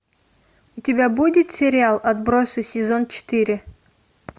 у тебя будет сериал отбросы сезон четыре